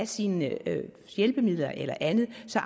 sine hjælpemidler eller andet så